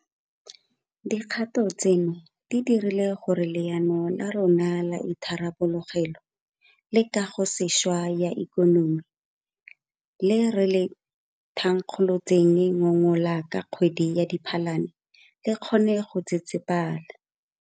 Dikgato tseno di dirile gore Leano la rona la Itharabologelo le Kagosešwa ya Ikonomi le re le thankgolotseng ngogola ka kgwedi ya Diphalane le kgone go tsetsepela.